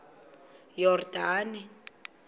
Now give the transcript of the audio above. yordane